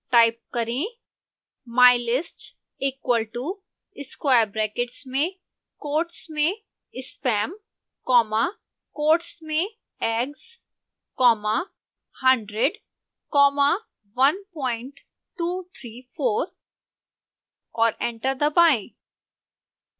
type करें